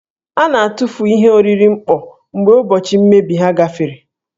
A na-atụfu ihe oriri mkpọ mgbe ụbọchị mmebi ha gafere.